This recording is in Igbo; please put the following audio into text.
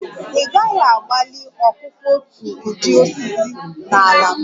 Ị gaghị agbalị ọkụkụ otu ụdị osisi na ala m!